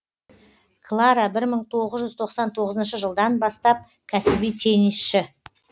клара бір мың тоғыз жүз тоқсан тоғызыншы жылдан бастап кәсіби теннисші